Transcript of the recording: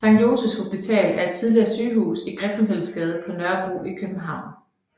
Sankt Josephs Hospital er et tidligere sygehus i Griffenfeldsgade på Nørrebro i København